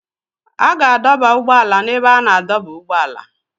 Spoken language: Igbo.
A ga-adọba ụgbọ ala n'ebe a na-adọba ụgbọala.